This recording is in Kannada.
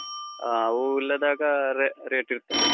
ಆಹ್ ಹೂವ್ ಇಲ್ಲದಾಗ re~ rate ಇರ್ತದೆ.